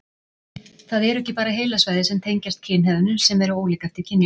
Það eru ekki bara heilasvæði sem tengjast kynhegðun sem eru ólík eftir kynjum.